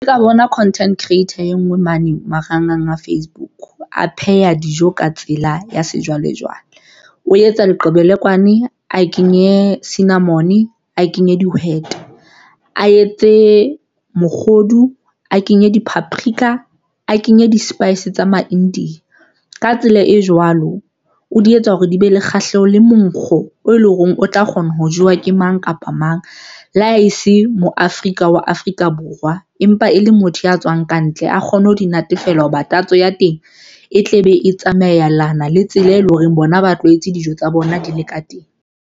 Ka bona content creator e nngwe mane marangrang a Facebook a pheha dijo ka tsela ya sejwalejwale, o etsa leqebelekwane a kenye cinnamon a kenye dihwete, a etse mokgodu, a kenye di-paprika a kenye di-spice tsa ma-India. Ka tsela e jwalo o di etsa hore di be le kgahleho le monkgo oo e leng hore o tla kgona ho jewa ke mang kapa mang le a e se moya Afrika wa Afrika Borwa, empa e le motho ya tswang kantle a kgone ho di natefela hoba tatso ya teng e tle be e tsamayelana le tsela, e leng hore bona ba tlwaetse dijo tsa bona di le ka teng.